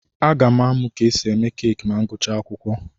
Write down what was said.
Aga m amụ ka esi eme keeki ma m gụchaa akwụkwọ.